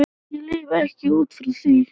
Ég lifi ekki út frá því.